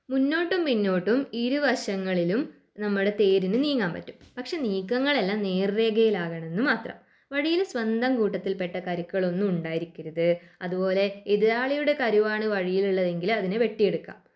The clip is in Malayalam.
മുന്നോട്ടും പിന്നോട്ടും ഇരുവശങ്ങളിലും നമ്മുടെ തേരിന് നീങ്ങാൻ പറ്റും പക്ഷെ നീക്കങ്ങളെല്ലാം നേർരേഖയിലാകണമെന്ന് മാത്രം. വഴിയിലെ സ്വന്തം കൂട്ടത്തിൽ പെട്ട കരുക്കളൊന്നും ഉണ്ടായിരിക്കരുത് അതുപോലെ എതിരാളിയുടെ കരുവാണ് വഴിയിലുള്ളതെങ്കില് അതിനെ വെട്ടിയെടുക്കാം.